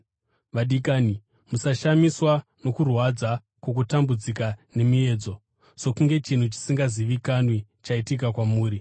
Vadikani, musashamiswa nokurwadza kwokutambudzika nemiedzo, sokunge chinhu chisingazivikanwi chaitika kwamuri.